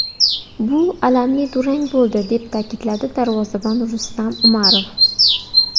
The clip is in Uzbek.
Bu alamli durang bo‘ldi”, deb ta’kidladi darvozabon Rustam Umarov.